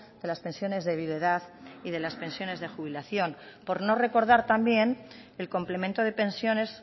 de las pensiones de viudedad y de las pensiones de jubilación por no recordar también el complemento de pensiones